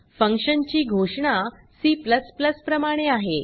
function ची घोषणा C प्रमाणे आहे